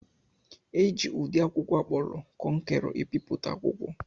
Eji ụdị akwụkwọ akpọrọ kọnkerọ ebipụta akwụkwọ.